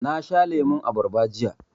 Na sha lemun abarba jiya.